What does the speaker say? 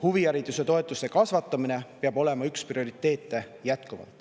Huvihariduse toetuse kasvatamine peab jätkuvalt olema üks prioriteete.